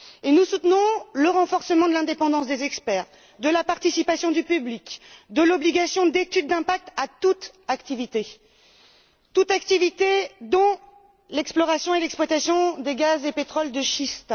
Nous soutenons le renforcement de l'indépendance des experts, de la participation du public, de l'obligation d'études d'impact pour toute activité, dont l'exploration et l'exploitation des gaz et pétroles de schiste.